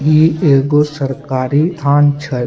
ई एगो सरकारी थान छै।